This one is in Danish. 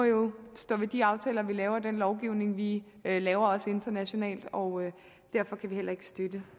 stå ved de aftaler vi laver og den lovgivning vi laver også internationalt og derfor kan vi heller ikke støtte